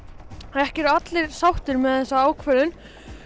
ekki eru allir sáttir með þessa ákvörðun